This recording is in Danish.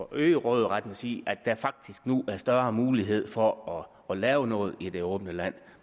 øge råderetten at sige at der nu er større mulighed for at lave noget i det åbne land